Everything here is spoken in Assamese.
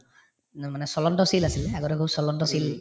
নহয় মানে চলন্ত চিল আছিলে আগতে বহুত চিল